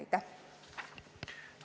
Aitäh!